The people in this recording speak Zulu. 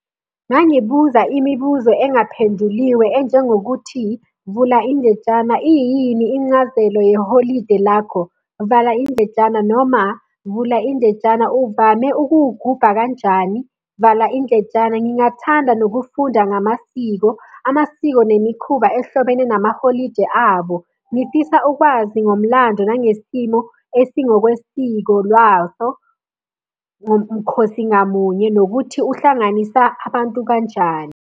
Ungangibuza imibuzo engaphenduliwe enjengokuthi, vula indletshana, iyini incazelo yeholide lakho? Vala indletshana, noma vula indletshana, uvame ukuwugubha kanjani? Vala indletshana. Ngingathanda nokufunda ngamasiko, amasiko nemikhuba ehlobene namaholidi abo. Ngifisa ukwazi ngomlando nangesimo esingokwesiko lwaso ngomkhosi ngamunye, nokuthi uhlanganisa abantu kanjani.